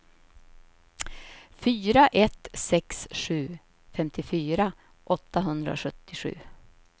fyra ett sex sju femtiofyra åttahundrasjuttiosju